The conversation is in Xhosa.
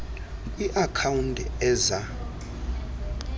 kwi account eza